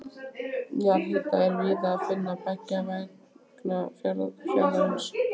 Jarðhita er víða að finna beggja vegna fjarðarins.